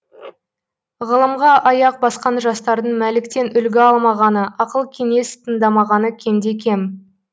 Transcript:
ғылымға аяқ басқан жастардың мәліктен үлгі алмағаны ақыл кеңес тыңдамағаны кемде кем